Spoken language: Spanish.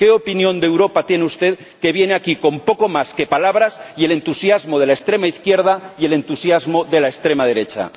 ¿Qué opinión de Europa tiene usted, que viene aquí con poco más que palabras y el entusiasmo de la extrema izquierda y el entusiasmo de la extrema derecha?